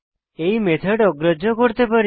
এই মেথড অগ্রাহ্য করতে পারি